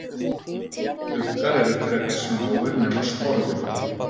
Uggar eru frekar smáir nema sporðuggi.